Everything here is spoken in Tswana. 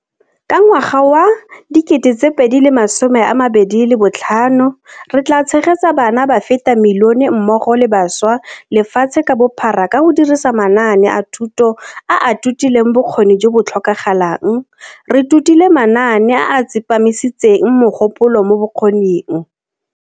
Ka ngwaga wa 2025, re tla tshegetsa bana ba feta milione mmogo le bašwa lefatshe ka bophara ka go dirisa manaane a thuto a a totileng bokgoni jo bo tlhokagalang, re totile manaane a a tsepamisitseng mogopolo mo bokgoning.